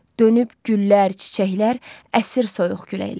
Dönüb güllər, çiçəklər əsir soyuq küləklər.